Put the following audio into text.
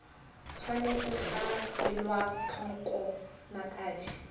tshwanetse ga elwa tlhoko dinako